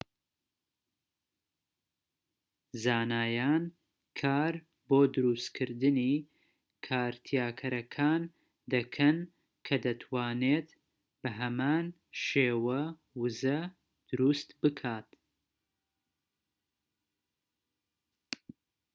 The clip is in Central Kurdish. زانایان کار بۆ دروستکردنی کارتیاکەرەکان دەکەن کە دەتوانێت بە هەمان شێوە وزە دروست بکات‎